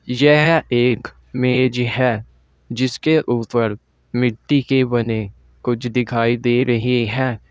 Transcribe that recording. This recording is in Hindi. यह एक मेज है जिसके ऊपर मिट्टी के बने कुछ दिखाई दे रहे हैं।